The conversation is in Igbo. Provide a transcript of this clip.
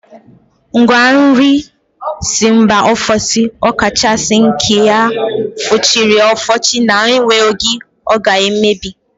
Ngwa nri si mba ofesi ọ kachasị nke a fụchiri afụchi na-enwe oge ọ ga-emebi